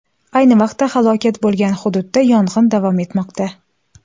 Ayni vaqtda halokat bo‘lgan hududda yong‘in davom etmoqda.